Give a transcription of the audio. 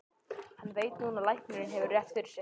Og hún veit núna að læknirinn hefur rétt fyrir sér.